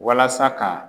Walasa ka